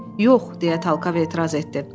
Yox, deyə Talkav etiraz etdi.